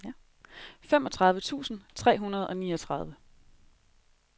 femogtredive tusind tre hundrede og niogtredive